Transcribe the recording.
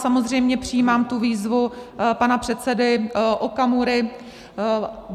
Samozřejmě přijímám tu výzvu pana předsedy Okamury.